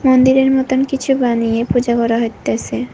মন্দিরের মতোন কিছু বানিয়ে পূজা করা হইতাছে।